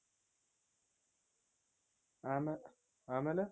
ಆಮೆ ಆಮೇಲೆ